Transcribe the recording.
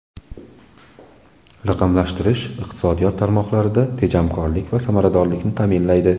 Raqamlashtirish iqtisodiyot tarmoqlarida tejamkorlik va samaradorlikni ta’minlaydi.